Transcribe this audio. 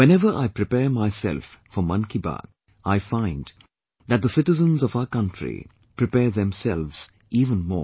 Whenever I prepare myself for 'Mann Ki Baat', I find that the citizens of our country prepare themselves even more